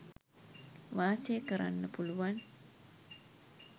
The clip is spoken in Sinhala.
වාසය කරන්න පුළුවන්.